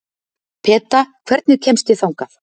Peta, hvernig kemst ég þangað?